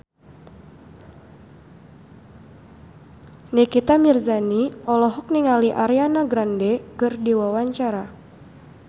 Nikita Mirzani olohok ningali Ariana Grande keur diwawancara